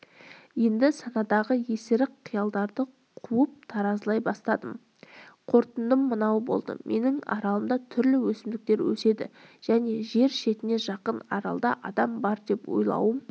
енді санадағы есірік қиялдарды қуып таразылай бастадым қорытындым мынау болды менің аралымда түрлі өсімдіктер өседі және жер шетіне жақын аралда адам бар деп ойлауым